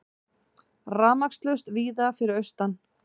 Rafmagnslaust víða fyrir austan